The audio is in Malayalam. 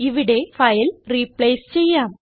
ഇവിടെ ഫയൽ റിപ്ലേസ് ചെയ്യാം